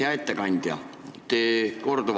Hea ettekandja!